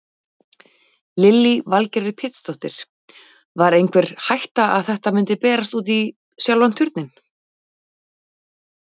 Lillý Valgerður Pétursdóttir: Var einhver hætta að þetta myndi berast í sjálfan Turninn?